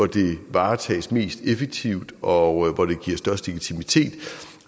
det varetages mest effektivt og hvor det giver størst legitimitet